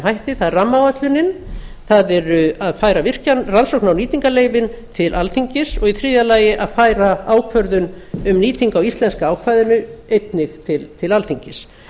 hætti það er rammaáætlunin það er að færa rannsókna og nýtingarleyfin til alþingis og í þriðja lagi að færa ákvörðun um nýtingu á íslenska ákvæðinu einnig til alþingis